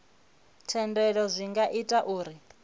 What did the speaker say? thendelo zwi nga ita uri